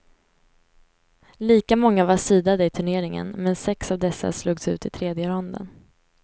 Lika många var seedade i turneringen, men sex av dessa slogs ut i tredje ronden.